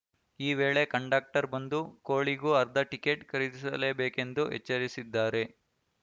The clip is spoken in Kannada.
ಈ ವೇಳೆ ಕಂಡಕ್ಟರ್‌ ಬಂದು ಕೋಳಿಗೂ ಅರ್ಧ ಟಿಕೆಟ್‌ ಖರೀದಿಸಲೇಬೇಕು ಎಂದು ಎಚ್ಚರಿಸಿದ್ದಾರೆ